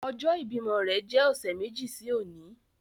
Ọjọ ibimọ rẹ jẹ ọsẹ meji si oni